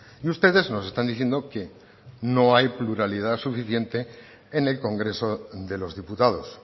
y ustedes nos están diciendo que no hay pluralidad suficiente en el congreso de los diputados